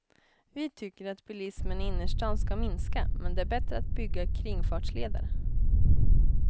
Vi tycker att bilismen i innerstan ska minska, men det är bättre att bygga kringfartsleder.